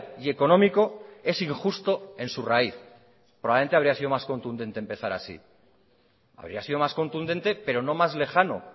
y económico es injusto en su raíz probablemente habría sido más contundente empezar así habría sido más contundente pero no más lejano